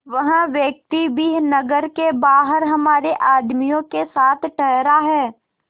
वह व्यक्ति भी नगर के बाहर हमारे आदमियों के साथ ठहरा है